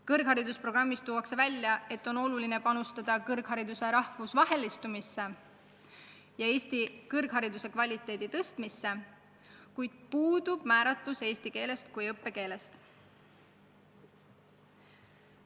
Kõrghariduse programmis tuuakse välja, et on oluline panustada kõrghariduse rahvusvahelistumisse ja Eesti kõrghariduse kvaliteedi tõstmisse, kuid puudub määratlus, mil määral on õppekeel eesti keel.